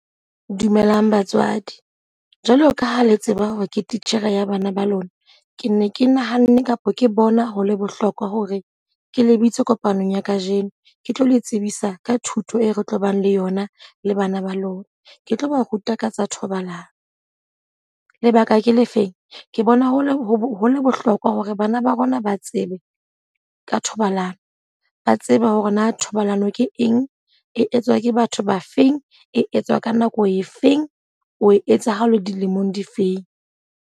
Dumelang batswadi, jwalo ka ha le tseba hore ke titjhere ya bana ba lona. Ke ne ke nahanne kapa ke bona ho le bohlokwa hore ke lebitse kopanong ya ka jeno. Ke tlo le tsebisa ka thuto e re tlo bang le yona le bana ba lona. Ke tlo ba ruta ka tsa thobalano. Lebaka ke le feng? Ke bona ho le ho le bohlokwa hore bana ba rona ba tsebe ka thobalano. Ba tsebe hore na thobalano ke eng? E etswa ke batho ba feng? E etswa ka nako e feng? O e etsa ha o le dilemong di feng?